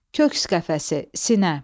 Köks qəfəsi, sinə.